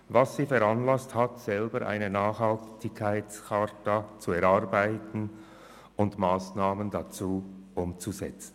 Das hat sie veranlasst, selber eine Nachhaltigkeitscharta auszuarbeiten und Massnahmen dazu umzusetzen.